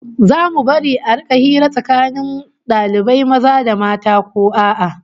Zamu bari a rika hira tsakanin dalibai maza da mata ko a'a?